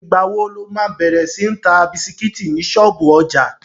Ìgbà wo lo má bẹ̀rẹ̀ sí ń ta bisikítì ní ṣọ́ọ̀bú ọjà?